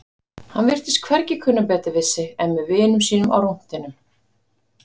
Hann virtist hvergi kunna betur við sig en með vinum sínum á rúntinum.